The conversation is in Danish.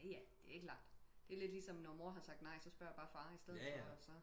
Jaja det er klart det er lidt ligesom når mor at sagt nej så spørg jeg bare far i stedet for